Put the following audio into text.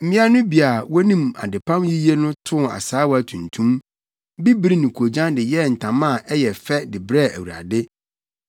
Mmea no bi a wonim adepam yiye no too asaawa tuntum, bibiri ne koogyan de yɛɛ ntama a ɛyɛ fɛ de brɛɛ Awurade.